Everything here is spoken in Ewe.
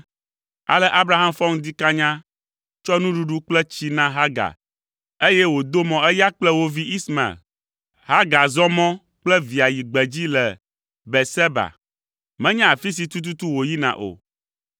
Ale Abraham fɔ ŋdi kanya, tsɔ nuɖuɖu kple tsi na Hagar, eye wòdo mɔ eya kple wo vi Ismael. Hagar zɔ mɔ kple via yi gbedzi le Beerseba. Menya afi si tututu wòyina o.